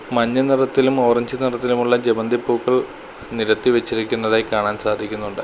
മഞ്ഞ നിറത്തിലും ഓറഞ്ച് നിറത്തിലുമുള്ള ജമന്തി പൂക്കൾ നിരത്തി വച്ചിരിക്കുന്നതായി കാണാൻ സാധിക്കുന്നുണ്ട്.